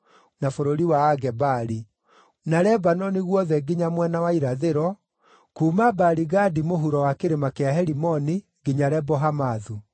na bũrũri wa a Gebali; na Lebanoni guothe nginya mwena wa irathĩro, kuuma Baali-Gadi mũhuro wa kĩrĩma kĩa Herimoni nginya Lebo-Hamathu.